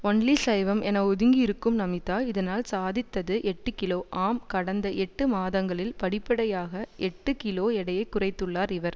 only சைவம் என ஒதுங்கியிருக்கும் நமிதா இதனால் சாதித்தது எட்டுகிலோ ஆம் கடந்த எட்டு மாதங்களில் படிப்படியாக எட்டு கிலோ எடையை குறைத்துள்ளார் இவர்